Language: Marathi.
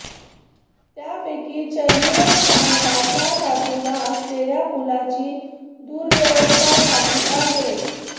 त्यापैकी चर्नी रोड स्थानकाच्या बाजूला असलेल्या पुलाची दुरवस्था झाली आहे